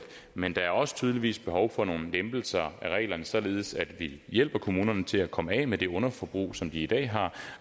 men der er også tydeligvis behov for nogle lempelser af reglerne således at vi hjælper kommunerne til at komme af med det underforbrug som de i dag har